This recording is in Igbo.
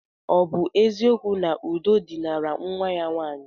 Ọ bụ eziokwu na Udo dinara nwa ya nwaanyị?